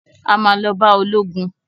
A ma lọ bá ológun